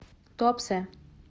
туапсе